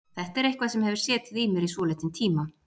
Þetta er eitthvað sem hefur setið í mér í svolítinn tíma.